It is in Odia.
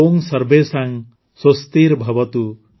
ଓଁ ସର୍ବେଷାଂ ସ୍ୱସ୍ତିର୍ଭବତୁ